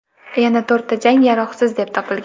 Yana to‘rtta jang yaroqsiz deb topilgan.